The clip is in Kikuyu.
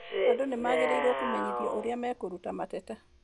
Andũ nĩ magĩrĩirũo kũmenyithio ũrĩa mekũruta mateta.